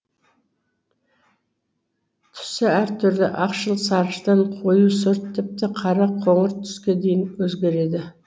түсі әр түрлі ақшыл сарғыштан қою сұр тіпті қара қоңыр түске дейін өзгереді